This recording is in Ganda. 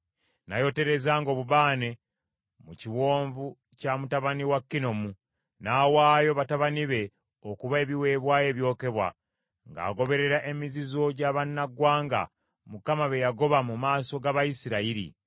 N’ayoterezanga obubaane mu kiwonvu kya mutabani wa Kinomu, n’awaayo batabani be okuba ebiweebwayo ebyokebwa, ng’agoberera emizizo gy’abannaggwanga, Mukama be yagoba mu maaso g’Abayisirayiri.